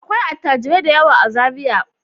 Akwai attajirai da yawa a Zariya.